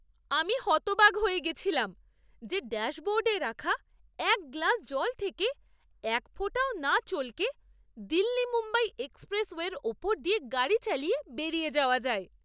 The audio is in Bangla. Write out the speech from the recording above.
আমি হতবাক হয়ে গেছিলাম যে ড্যাশবোর্ডে রাখা এক গ্লাস জল থেকে এক ফোঁটাও না চলকে দিল্লি মুম্বাই এক্সপ্রেসওয়ের ওপর দিয়ে গাড়ি চালিয়ে বেরিয়ে যাওয়া যায়!